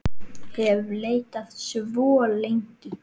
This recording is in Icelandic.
hef leitað svo lengi.